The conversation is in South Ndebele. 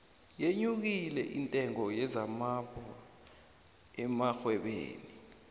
yenyukile intengo yezambayho emarhwebeni